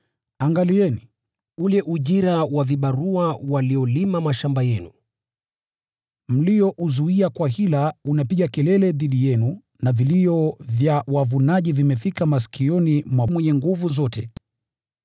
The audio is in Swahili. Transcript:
Angalieni! Ule ujira wa vibarua waliolima mashamba yenu mliouzuia kwa hila unapiga kelele dhidi yenu na vilio vya wavunaji vimefika masikioni mwa Bwana Mwenye Nguvu Zote.